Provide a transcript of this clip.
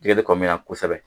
Jɛgɛ bɛ kɔ min na na kosɛbɛ